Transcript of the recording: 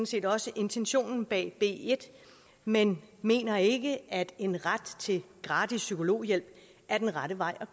set også intentionen bag b en men mener ikke at en ret til gratis psykologhjælp er den rette vej